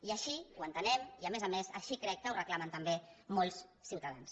i així ho entenem i a més a més així crec que ho reclamen també molts ciutadans